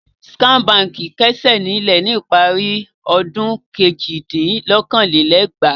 Skye Báńkì kásẹ̀ nílẹ̀ ní ìparí ọdún kejìdínlókòó-lé-ẹgbàá.